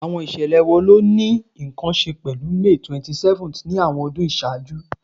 Awọn iṣẹlẹ wo ni o ni nkan ṣe pẹlu May 27th ni awọn ọdun iṣaaju?